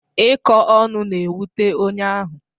Ịkọ ọnụ na-ewute onye ahụ.